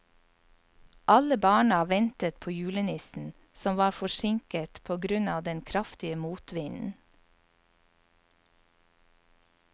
Alle barna ventet på julenissen, som var forsinket på grunn av den kraftige motvinden.